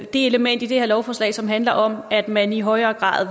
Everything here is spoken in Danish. det element i det her lovforslag som handler om at man i højere grad